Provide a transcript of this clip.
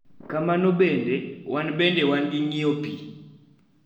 Kamano bende, wan bende wan gi ng�iyo pi,